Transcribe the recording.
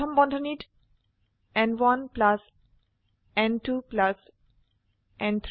প্রথম বন্ধনীত ন1 ন2 ন3